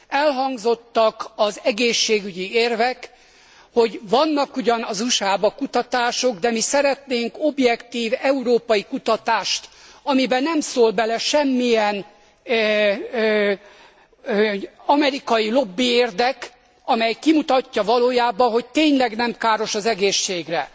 Elhangzottak az egészségügyi érvek, hogy vannak ugyan az USA ban kutatások, de mi szeretnénk objektív európai kutatást, amibe nem szól bele semmilyen amerikai lobbiérdek, amely kimutatja valójában, hogy tényleg nem káros az egészségre.